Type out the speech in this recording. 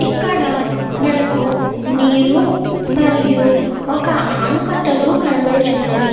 ఇక్కడ మనకు నీరు మరియు ఒక అనుకట్టులు కనబడుచున్నవి.